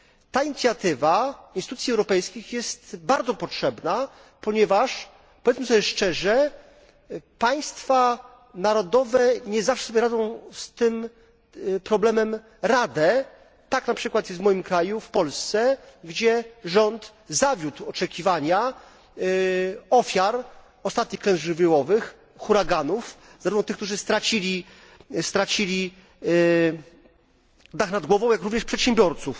Ta inicjatywa instytucji europejskich jest bardzo potrzebna, ponieważ powiedzmy sobie szczerze państwa narodowe nie zawsze dają sobie z tym problemem radę. Tak na przykład jest w moim kraju, w Polsce, gdzie rząd zawiódł oczekiwania ofiar ostatnich klęsk żywiołowych, huraganów zarówno tych, którzy stracili dach nad głową, jak również przedsiębiorców.